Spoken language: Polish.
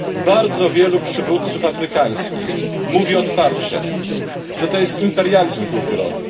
Bardzo wielu przywódców afrykańskich mówi otwarcie, że to jest imperializm kulturowy.